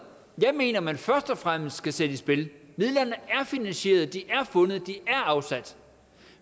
jeg mener man først og fremmest skal sætte i spil midlerne er finansieret de er fundet de er afsat